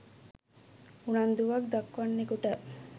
උනන්දුවක් දක්වන්නෙකුට